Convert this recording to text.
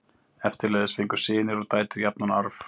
Eftirleiðis fengu synir og dætur jafnan arf.